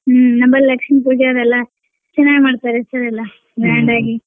ಹ್ಮ್ ನಮ್ಮ ಲಕ್ಷ್ಮೀ ಪೂಜೆ ಅದೆಲ್ಲ ಚೆನ್ನಾಗ್ ಮಾಡ್ತಾರೆ sir ಅದೆಲ್ಲ grand ಆಗಿ.